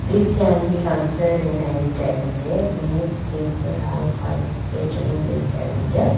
this can be considered a night avente many people have participated in this avente .